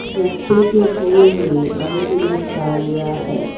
रस्ते के दूर में अनगिनत गाड़ियां हैं।